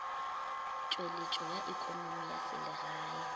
tšweletšo ya ekonomi ya selegae